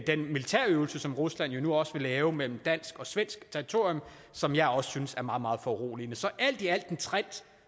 den militærøvelse som rusland jo nu også laver mellem dansk og svensk territorium som jeg også synes er meget meget foruroligende så alt i alt en trend